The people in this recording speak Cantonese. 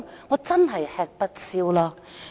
我真的吃不消了。